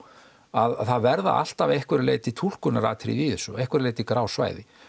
að það verða alltaf að einhverju leyti túlkunaratriði í þessu og að einhverju leyti grá svæði